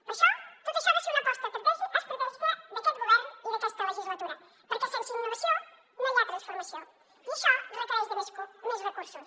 per això tot això ha de ser una aposta estratègica d’aquest govern i d’aquesta legislatura perquè sense innovació no hi ha transformació i això requereix més recursos